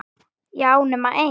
Já, nema ein.